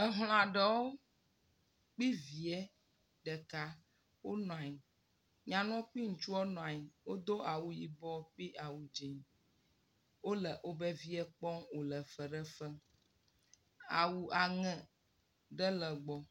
Emla ɖewo kpli via ɖeka wome nyanu kpli ŋtsua na nyi wodo ayibɔ kpli awu dzi wole woƒe vie kpɔm wole fefe ɖe fem. Awu aŋe ɖe le gbɔ